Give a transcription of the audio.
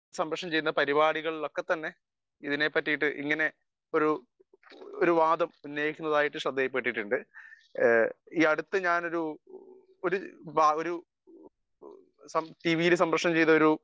Speaker 1 സംപ്രേഷണം ചെയ്യുന്ന പരിപാടികളിൽ എല്ലാം തന്നെ ഇതിനെപ്പറ്റി ഇങ്ങനെയുള്ള ഒരു വാദം ഉന്നയിക്കുന്നതായി ശ്രദ്ധയിൽപെട്ടിട്ടുണ്ട് . ഈയടുത്തു ഞാൻ ഒരു ഒരു ടീവിയിൽ സംപ്രേഷണം ചെയ്ത ഒരു